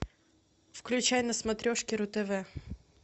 включай на смотрешке ру тв